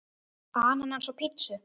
Ananas á pizzu?